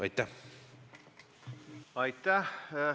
Aitäh!